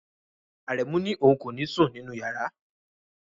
Aremu ni oun ko ni sun ninu yara